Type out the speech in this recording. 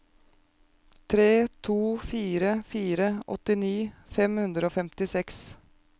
tre to fire fire åttini fem hundre og femtiseks